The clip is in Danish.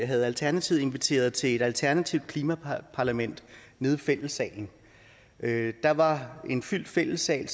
havde alternativet inviteret til et alternativt klimaparlament nede i fællessalen der var en fyldt fællessal